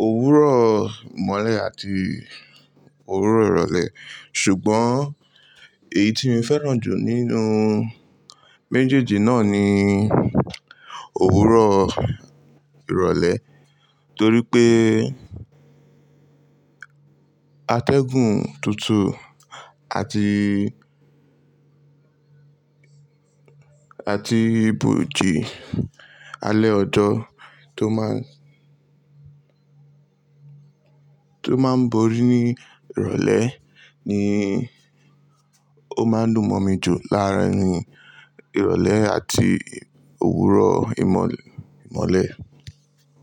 òwúrọ̀ ìmọ̀le àti òwúrọ̀ ìrọ̀lẹ́ ṣùgbọ́n èyí tí mi fẹ́ràn jù nínú méjèèjì náà ni òwúrọ̀ ìrọ̀lẹ́ torí pé atẹ́gùn tutu àti, àti ibòji alẹ́ ọjọ́ tó máa, tó máa ń borí ní ìrọ̀lẹ́ ni ó máa ń dùn mọ̀ mi jù láàárín ìrọ̀lẹ́ àti òwúrọ̀ ìmọ̀lẹ̀, ìmọ̀le.